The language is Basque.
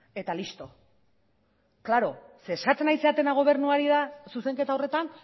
eta listo klaro ze esaten ari zaretena gobernuari da zuzenketa horretan